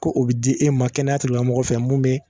Ko o be di e ma kɛnɛyatigilamɔgɔw fɛ mun be